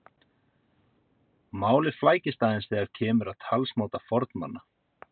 málið flækist aðeins þegar kemur að talsmáta fornmanna